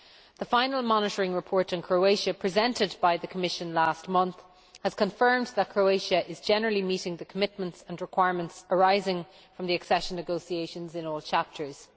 The final Monitoring Report on Croatia presented by the Commission last month has confirmed that Croatia is generally meeting the commitments and requirements arising from the accession negotiations in all chapters.